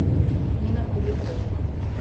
нина куликова